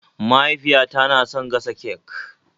Mahaifiyata na son gasa cek